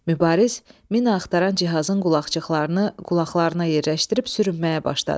Mübariz mina axtaran cihazın qulaqçıqlarını qulaqlarına yerləşdirib sürünməyə başladı.